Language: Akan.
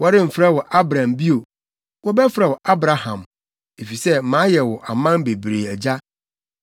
Wɔremfrɛ wo Abram bio. Wɔbɛfrɛ wo Abraham, efisɛ mayɛ wo aman bebree agya.